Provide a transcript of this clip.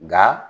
Nga